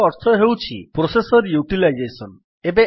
C ର ଅର୍ଥ ହେଉଛି ପ୍ରୋସେସର୍ ୟୁଟିଲାଇଜେସନ୍